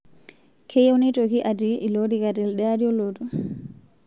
Keyieu neitoki atii ilo olirika telde aari olotu